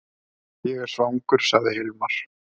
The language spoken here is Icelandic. Ég er svangur, sagði Hilmar.